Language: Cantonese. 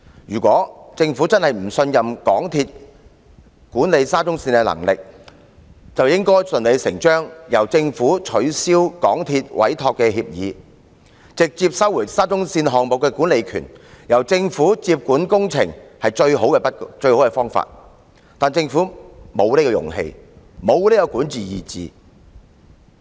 如果政府真的不信任港鐵公司管理沙中線的能力，便應順理成章取消港鐵公司的委託協議，直接收回沙中線項目的管理權，由政府接管工程是最好的方法，但政府沒有這種勇氣，沒有這種管治意志。